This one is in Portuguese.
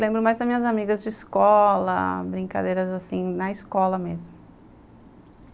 Lembro mais das minhas amigas de escola, brincadeiras assim, na escola mesmo.